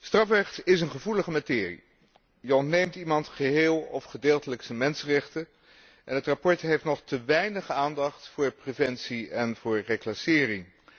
Strafrecht is een gevoelige materie. Je ontneemt iemand geheel of gedeeltelijk zijn mensenrechten, en het verslag heeft nog te weinig aandacht voor preventie en voor reclassering.